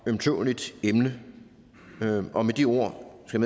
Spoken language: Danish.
ømtåleligt emne med de ord skal